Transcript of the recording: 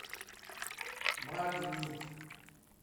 магнит